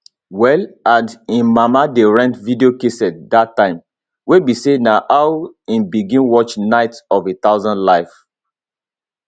well and im mama dey rent video casette dat time wey be say na how im begin watch night of a thousand life